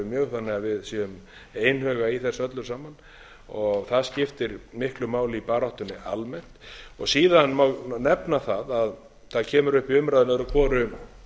mjög þannig að við séum einhuga í þessu öllu saman það skiptir miklu máli í baráttunni almennt síðan má nefna það að það kemur upp í umræðum öðru hvoru